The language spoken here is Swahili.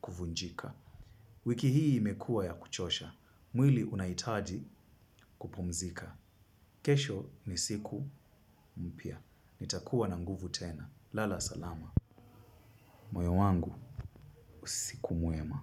kuvunjika. Wiki hii imekua ya kuchosha. Mwili unahitaji kupumzika. Kesho ni siku mpya. Nitakuwa na nguvu tena. Lala salama. Moyo wangu usiku mwema.